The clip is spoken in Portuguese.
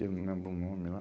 Eu não lembro o nome lá.